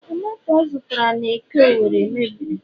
tomato ọ zụtara n'eke Owerri mebiri